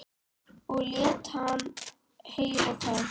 Og lét hann heyra það.